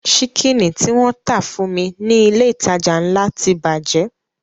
Ṣíkìnì tí wọ́n tà fún mi ní ilé ìtajà ńlá ti bàjẹ́